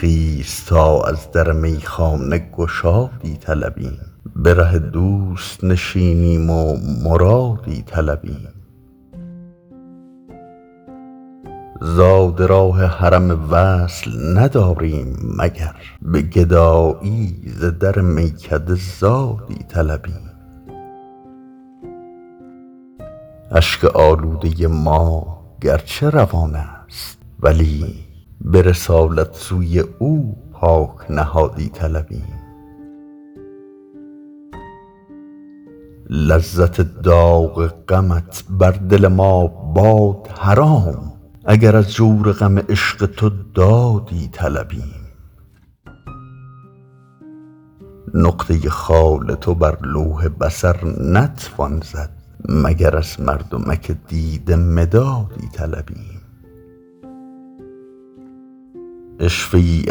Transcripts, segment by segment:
خیز تا از در میخانه گشادی طلبیم به ره دوست نشینیم و مرادی طلبیم زاد راه حرم وصل نداریم مگر به گدایی ز در میکده زادی طلبیم اشک آلوده ما گرچه روان است ولی به رسالت سوی او پاک نهادی طلبیم لذت داغ غمت بر دل ما باد حرام اگر از جور غم عشق تو دادی طلبیم نقطه خال تو بر لوح بصر نتوان زد مگر از مردمک دیده مدادی طلبیم عشوه ای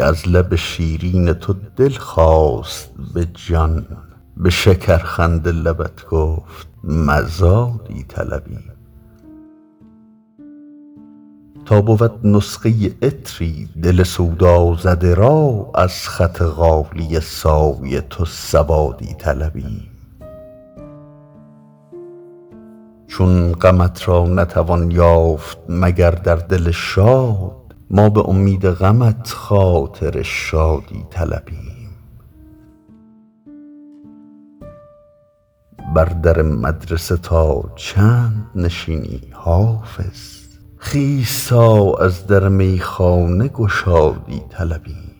از لب شیرین تو دل خواست به جان به شکرخنده لبت گفت مزادی طلبیم تا بود نسخه عطری دل سودازده را از خط غالیه سای تو سوادی طلبیم چون غمت را نتوان یافت مگر در دل شاد ما به امید غمت خاطر شادی طلبیم بر در مدرسه تا چند نشینی حافظ خیز تا از در میخانه گشادی طلبیم